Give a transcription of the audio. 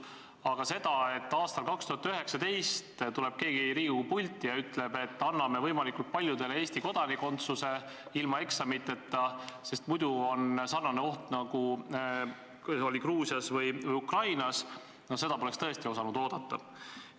Aga seda, et aastal 2019 tuleb keegi Riigikogu pulti ja ütleb, et anname võimalikult paljudele Eesti kodakondsuse ilma eksamiteta, sest muidu ähvardab meid samasugune oht, nagu oli Gruusias või Ukrainas – no seda poleks tõesti osanud oodata.